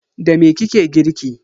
Da me kike girki?